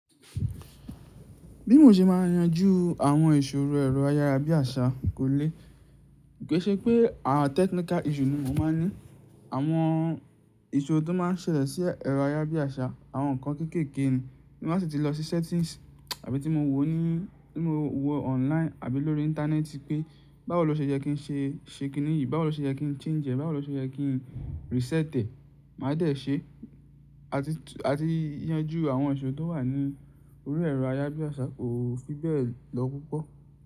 Bí mo ṣe máa yanjú àwọn ìṣòro ẹ̀rọ ayára bí àṣá kò lè, koi se pé a, technical issue ni mo máa ń ní. Àwọn ìṣòro tó máa ń ṣẹlẹ̀ sí ẹ̀rọ ayára bí àṣá, àwọn nǹkan kéékèèké ni. Bí mo bá sì ti lọ sí settings àbí tí mo wò ó ní, tí mo wò ó online àbí lórí ìntanẹ́ẹ̀tì pé báwo ló ṣe jẹ́ kí n ṣe, ṣe kín nìyí, báwo ló ṣe jẹ́ kí n change ẹ̀, báwo ló ṣe jẹ́ kí n reset ẹ̀, màá dẹ̀ ṣe. Àti, àti yanjú àwọn ìṣòro tó wà ní orí ẹ̀rọ ayára bí àṣá kò fi bẹ́ẹ̀ lọ púpọ̀